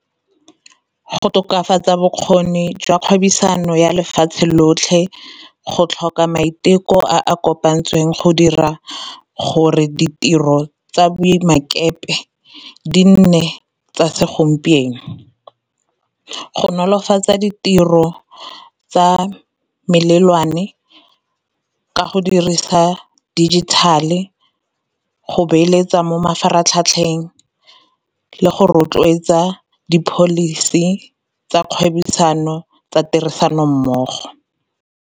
Go tokafatsa bokgoni jwa kgwebisano ya lefatshe lotlhe, go tlhoka maiteko a kopantsweng go dira gore ditiro tsa di nne tsa segompieno, go nolofatsa ditiro tsa melelwane ka go dirisa digital-e, go beeletsa mo mafaratlhatlheng le go rotloetsa di-policy tsa kgwebisano tsa tirisano mmogo.